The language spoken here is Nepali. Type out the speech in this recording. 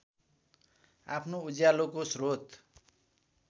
आफ्नो उज्यालोको स्रोत